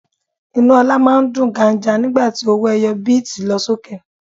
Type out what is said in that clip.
Inú ọlá máa ń dùn ganja nígbà tí owó ẹyọ bíítì lọ sókè.